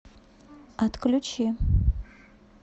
отключи